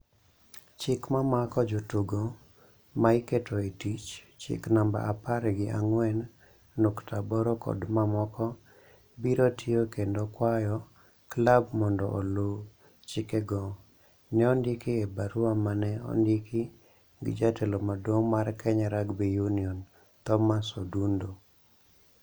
"Chik ma mako jotugo ma iketo e tich (chik namba apar gi ang'wen nukta aboro kod mamoko) biro tiyo kendo kwayo klab mondo oluw chikego", ne ondiki e barua ma ne ondiki gi jatelo maduong' mar Kenya Rugby Union, Thomas Odundo.